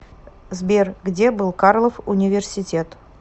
сбер где был карлов университет